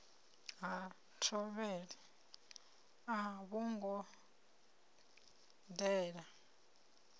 ha thovhele a vhongo dela